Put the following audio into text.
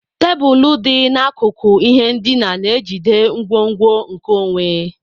Tebụl dị n'akụkụ ihe ndina na-ejide ngwongwo nkeonwe.